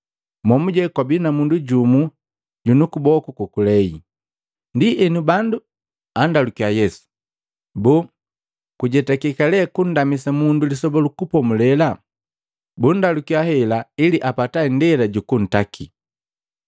momuje kwabii na mundu jumu junu kuboku kokulei. Ndienu bandu andalukiya Yesu, “Boo, kujetakeka le kundamisa mundu Lisoba lu Kupomulela?” Bundalukiya hela ili apata indela jukuntaki.